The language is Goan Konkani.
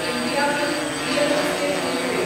Indiabulls real estate limited